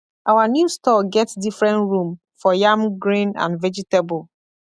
our new store get different room for yam grain and vegetable